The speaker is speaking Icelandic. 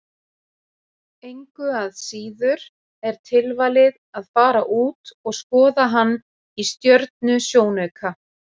Engu að síður er tilvalið að fara út og skoða hann í stjörnusjónauka.